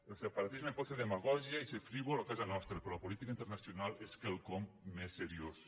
el separatisme pot fer demagògia i ser frívol a casa nostra però la política internacional és quelcom més seriós